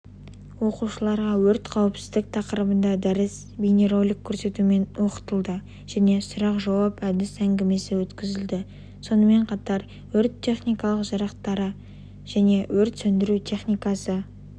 оқушыларға өрт қауіпсіздік тақырыбына дәріс бейнеролик көрсетумен оқытылды және сұрақ-жауап әдіс әнгімесі өткізілді сонымен қатар өрт-тнхникалық жарақтары және өрт сөндіру техникасы